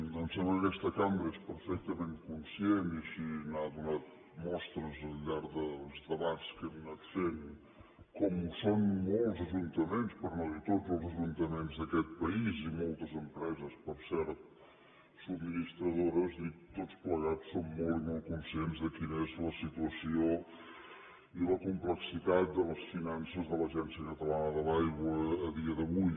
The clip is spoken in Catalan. em sembla que aquesta cambra és perfectament conscient i així n’ha donat mostres al llarg dels debats que hem anat fent com ho són molts ajuntaments per no dir tots els ajuntaments d’aquest país i moltes empreses per cert subministradores dic tots plegats som molt i molt conscients de quina és la situació i la complexitat de les finances de l’agència catalana de l’aigua a dia d’avui